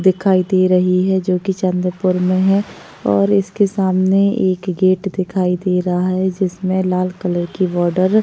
दिखाई दे रही है जो की चंद्रपुर में है और इसके सामने एक गेट दिखाई दे रहा है जिसमें लाल कलर की बॉर्डर --